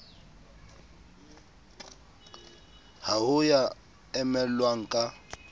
ha ho ya emellwang ka